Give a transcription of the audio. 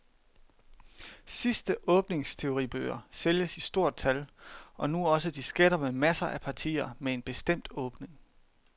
Såkaldte åbningsteoribøger sælges i stort tal, og nu også disketter med masser af partier med en bestemt åbning.